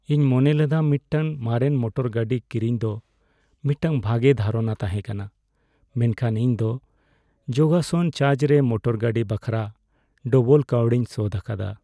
ᱤᱧ ᱢᱚᱱᱮᱞᱮᱫᱟ ᱢᱤᱫᱴᱟᱝ ᱢᱟᱨᱮᱱ ᱢᱚᱴᱚᱨ ᱜᱟᱹᱰᱤ ᱠᱤᱨᱤᱧ ᱫᱚ ᱢᱤᱫᱴᱟᱝ ᱵᱷᱟᱜᱮ ᱫᱷᱟᱨᱚᱱᱟ ᱛᱟᱦᱮᱸ ᱠᱟᱱᱟ ᱢᱮᱱᱠᱷᱟᱱ ᱤᱧ ᱫᱚ ᱡᱚᱜᱟᱥᱟᱱ ᱪᱟᱨᱡ ᱨᱮ ᱢᱚᱴᱚᱨ ᱜᱟᱹᱰᱤ ᱵᱟᱠᱷᱨᱟ ᱰᱚᱵᱚᱞ ᱠᱟᱹᱣᱰᱤᱧ ᱥᱳᱫᱷ ᱟᱠᱟᱫᱟ ᱾